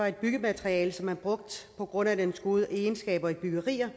et byggemateriale som man brugte på grund af dets gode egenskaber i byggerier